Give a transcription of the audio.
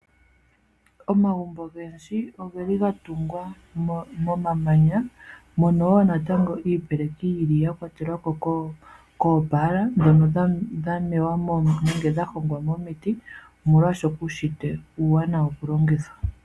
Omagumbo ogendji ogeli gatungwa momamanya, mono wo natango iipeleki yili ya kwatelwa kopala ndhono dhamewa nenge dhahongwa momiti, omolwashoka uushitwe uuwanawa okulongithwa.